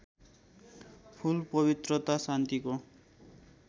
फूल पवित्रता शान्तिको